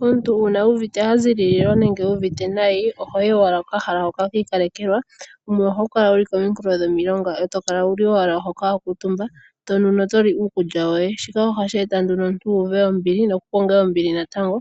Omuntu uuna uuvite a zilililwa nenge uuvite nayi, ohoyi owala kokahala hoka kiikalekelwa, hu ho kala wuli kominkulo dhomilonga e to kala wuli owala hoka wa kuutumba tonu noto li uukulya woye, shika ohashi eta nduno omuntu uuve ombili nokukonge ombili natango